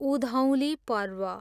Udhauli Parv